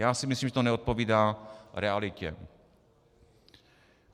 Já si myslím, že to neodpovídá realitě.